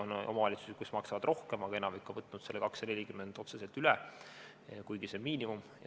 On omavalitsusi, kes maksavad rohkem, aga enamik on võtnud selle 240 eurot otseselt üle, kuigi see on miinimum.